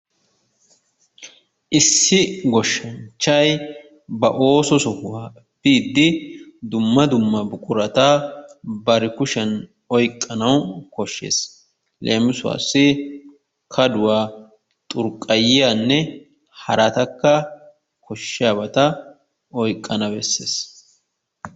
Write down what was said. issi goshshanchchay ba ooso sohuwa biidi dumma dumma buqurata bari kushiyaan oyqqana koshshees. leemisuwassi kadduwa, xurqqayiyanne haratakka koshshiyaaba oyqqana beessees.